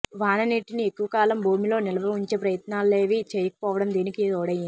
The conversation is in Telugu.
వాన నీటిని ఎక్కువ కాలం భూమిలో నిల్వ ఉంచే ప్రయత్నాలేవీ చేయకపోవటం దీనికి తోడైంది